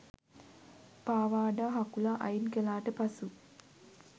පාවාඩ හකුලා අයින් කලාට පසු